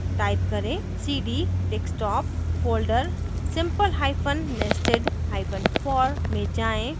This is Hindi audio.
type करें cd desktop folder simplehyphen nestedhyphen for में जाएँ